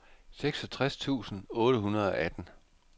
seksogtres tusind otte hundrede og atten